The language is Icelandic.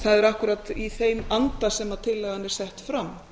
það er akkúrat í þeim anda sem tillagan er sett fram